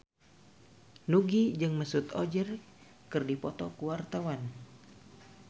Nugie jeung Mesut Ozil keur dipoto ku wartawan